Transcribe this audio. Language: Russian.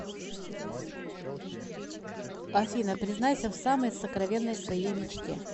афина признайся в самой сокровенной своей мечте